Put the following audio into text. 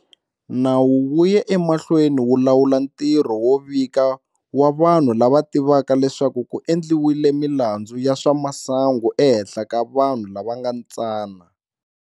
Nawu wu ya emahlweni wu lawula ntirho wo vika wa vanhu lava tivaka leswaku ku endliwile milandzu ya swa masangu ehenhla ka vanhu lava nga tsana.